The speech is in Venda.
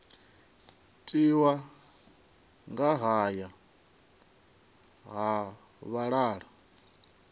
tiwa nga haya ha vhalala